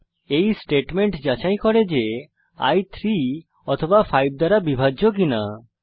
এই স্টেটমেন্ট যাচাই করে যে i 3 অথবা 5 দ্বারা বিভাজ্য কিনা